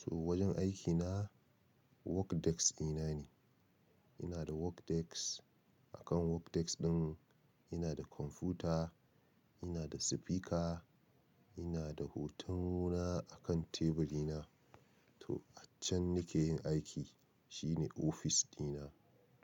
To wajen aikina work desk ɗina ne. Ina da work desk, a kan work desk ɗin ina da kwamfuta, ina da speaker, ina da hoton ruwa a kan teburi na. To, a can nake yin aiki, shine ofis dina.